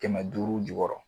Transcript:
Kɛmɛ duuru jukɔrɔ.